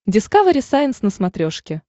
дискавери сайенс на смотрешке